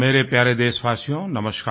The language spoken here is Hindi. मेरे प्यारे देशवासियो नमस्कार